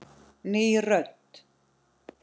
Ný rödd.